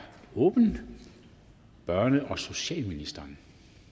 åbnet børne og socialministeren